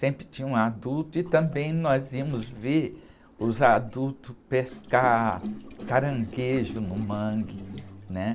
Sempre tinha um adulto e também nós íamos ver os adultos pescar caranguejo no mangue, né?